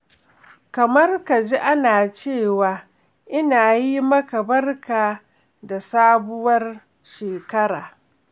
Kamar ka ji ana cewa ina yi maka barka da sabuwar shekara.